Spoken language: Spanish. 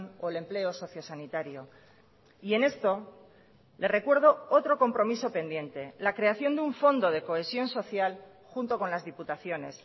o el empleo socio sanitario y en esto le recuerdo otro compromiso pendiente la creación de un fondo de cohesión social junto con las diputaciones